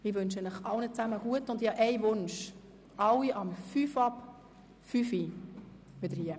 Ich wünsche allen einen guten Appetit und möchte, dass sich alle um 17.05 Uhr wieder hier im Saal einfinden.